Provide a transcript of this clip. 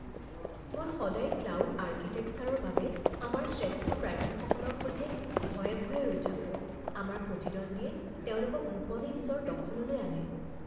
মই সদায় ক্লাউড আৰ্কিটেকচাৰৰ বাবে আমাৰ শ্ৰেষ্ঠ প্ৰাৰ্থীসকলৰ সৈতে ভয়ে ভয়ে ৰৈ থাকোঁ। আমাৰ প্ৰতিদ্বণ্ডীয়ে তেওঁলোকক গোপনে নিজৰ দখললৈ আনে।